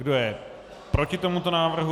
Kdo je proti tomuto návrhu?